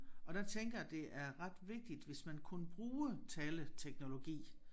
Og der tænker jeg det er ret vigtigt hvis man kunne bruge taleteknologi